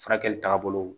Furakɛli tagabolo